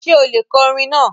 Ṣè ó lè kọ̀ ọ̀rọ̀ naa?